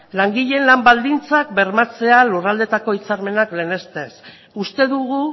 langileen lan baldintzak bermatzea lurraldeetako hitzarmenak lehenestez uste dugu